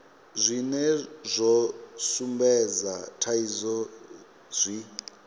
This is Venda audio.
zwine zwa sumbedza thaidzo zwi